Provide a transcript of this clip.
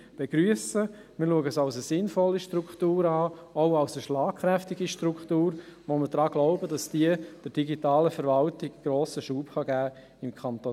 Wir betrachten diese als sinnvolle Struktur, auch als schlagkräftige Struktur, wobei wir daran glauben, dass diese der digitalen Verwaltung im Kanton Bern grossen Schub geben kann.